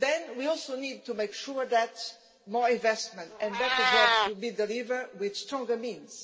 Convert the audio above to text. We also need to make sure that more investment and better jobs will be delivered with stronger means.